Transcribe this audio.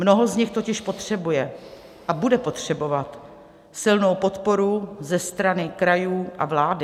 Mnoho z nich totiž potřebuje a bude potřebovat silnou podporu ze strany krajů a vlády.